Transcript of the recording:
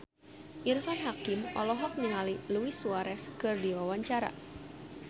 Irfan Hakim olohok ningali Luis Suarez keur diwawancara